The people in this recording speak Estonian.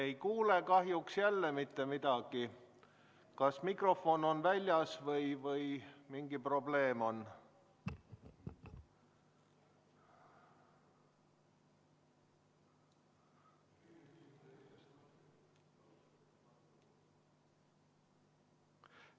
Me ei kuule kahjuks jälle mitte midagi, kas mikrofon on väljas või mingi probleem on.